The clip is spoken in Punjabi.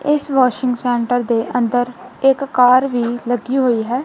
ਇੱਸ ਵੋਸ਼ਿੰਗ ਸੈਂਟਰ ਦੇ ਅੰਦਰ ਇੱਕ ਕਾਰ ਵੀ ਲੱਗੀ ਹੋਈ ਹੈ।